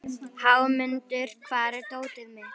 Hámundur, hvar er dótið mitt?